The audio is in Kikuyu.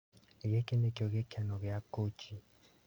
"Gĩkĩ nĩkĩo gĩkeno gĩa Kũci".